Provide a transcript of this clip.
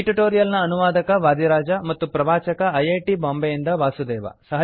ಈ ಟ್ಯುಟೋರಿಯಲ್ ನ ಅನುವಾದಕ ವಾದಿರಾಜ ಮತ್ತು ಪ್ರವಾಚಕ ಐ ಐ ಟೀ ಬಾಂಬೆಯಿಂದ ವಾಸುದೇವ